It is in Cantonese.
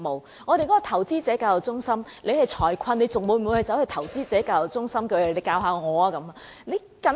雖然我們有一個投資者教育中心，但當市民面臨財困時，他們會否走到投資者教育中心求教呢？